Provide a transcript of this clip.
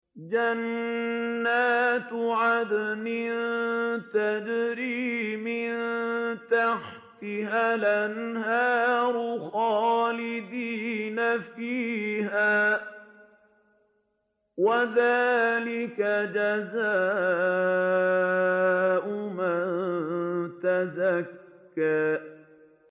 جَنَّاتُ عَدْنٍ تَجْرِي مِن تَحْتِهَا الْأَنْهَارُ خَالِدِينَ فِيهَا ۚ وَذَٰلِكَ جَزَاءُ مَن تَزَكَّىٰ